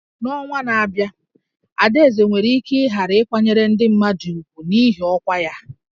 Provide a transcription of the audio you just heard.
N'ọnwa na-abịa, Adaeze nwere ike ghara ịkwanyere ndị mmadụ ùgwù n'ihi ọkwa ya